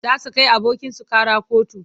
Za su kai abokinsu ƙara kotu.